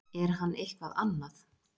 Er hann eitthvað annað?